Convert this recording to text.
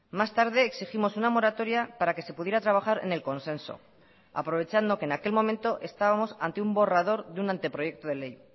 más tarde exigimos una moratoria para que se pudiera trabajar en el consenso aprovechando que en aquel momento estábamos ante un borrador de un anteproyecto de ley